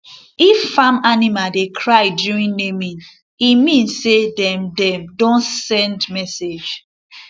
if farm animal dey cry during naming e mean say dem dem don send message